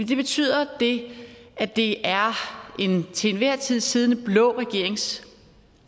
betyder at det er en til enhver tid siddende blå regerings